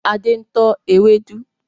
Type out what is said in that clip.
Adé ń tọ́ ewédú